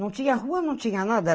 Não tinha rua, não tinha nada.